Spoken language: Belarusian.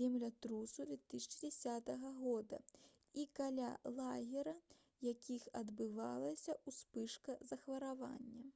землятрусу 2010 г і каля лагера якіх адбылася ўспышка захворвання